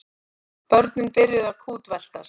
Börnin byrjuðu að kútveltast.